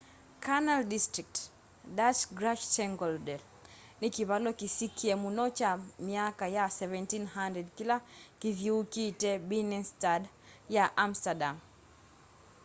canal district dutch: grachtengordel ni kavalo kisikie mũno cha myaka ya 1700 kila kithiiukite binnenstad ya amsterdam